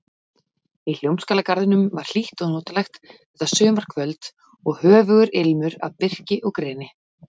Í Hljómskálagarðinum var hlýtt og notalegt þetta sumarkvöld og höfugur ilmur af birki og greni.